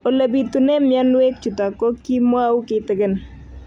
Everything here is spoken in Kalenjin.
Ole pitune mionwek chutok ko kimwau kitig'�n